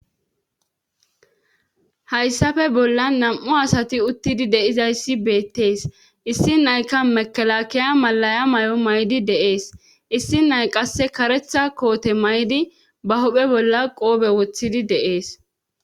Hayssappe bolla nam7u asati uttidi de'izayssi beettees issi nayka mekalakiya malaya may7o may7di deees issi nay qasse karetha koote may7di ba hophe bolla qoobe wothidi deees.